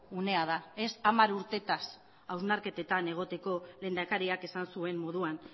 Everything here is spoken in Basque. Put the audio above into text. unea da ez hamar urteetaz hausnarketetan egoteko lehendakariak esan zuen moduan